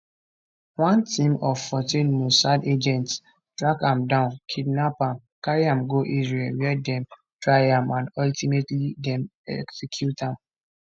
one team of 14 mossad agents track am down kidnap am carry am go israel wia dem try am and ultimately dem execute am